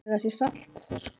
Ætli það sé ekki saltfiskur.